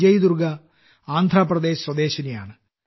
വിജയ്ദുർഗ ആന്ധ്രാപ്രദേശ് സ്വദേശിയാണ്